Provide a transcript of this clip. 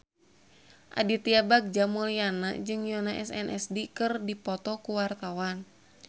Aditya Bagja Mulyana jeung Yoona SNSD keur dipoto ku wartawan